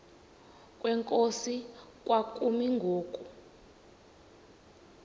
kwenkosi kwakumi ngoku